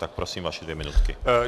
Tak prosím, vaše dvě minutky.